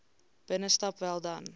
binnestap wel dan